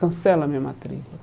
Cancela a minha matrícula.